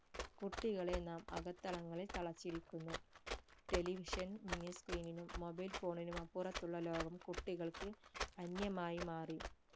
കൂട്ടികളെ നാം അകത്തളങ്ങളിൽ തളച്ചിരിക്കുന്നു television miniscreen നും mobilephone നും അപ്പുറത്തുള്ള ലോകം കുട്ടികൾക്ക് അന്യമായി മാറി